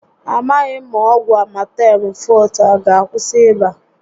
A maghị m ma ọgwụ Amatem Fọọte a aga akwụsị ịba a